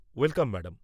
Welcome, madam.